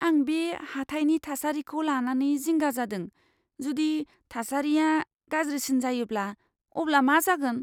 आं बे हाथाइनि थासारिखौ लानानै जिंगा जादों। जुदि थासारिया गाज्रिसिन जायोब्ला अब्ला मा जागोन?